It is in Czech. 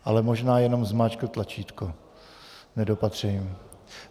Ale možná jenom zmáčkl tlačítko nedopatřením.